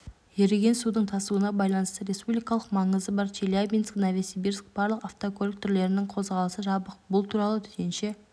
еріген судың тасуына байланысты республикалық маңызы бар челябинск-новосибирск барлық автокөлік түрлерінің қозғалысы жабық бұл туралы төтенше